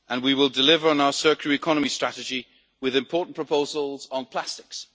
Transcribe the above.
We will deliver on our circular economy strategy with important proposals on plastics.